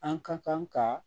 An ka kan ka